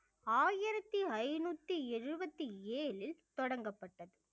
ஆயிரத்தி ஐந்நூத்தி எழுபத்தி ஏழில் தொடங்கப்பட்டது